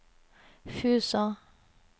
Fusa